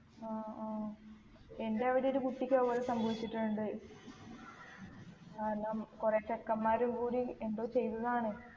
ആ ആ എൻ്റെ അവിടെ ഒരു കുട്ടിക്ക് അത്പോലെ സംഭവിച്ചിട്ടുണ്ട് കുറേ ചെക്കന്മാര് കൂടി എന്തോ ചെയ്തതാണ്